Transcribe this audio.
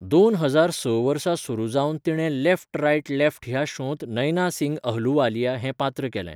दोन हजार स वर्सा सुरू जावन तिणें लेफ्ट राइट लेफ्ट ह्या शोंत नैना सिंग अहलुवालिया हें पात्र केलें.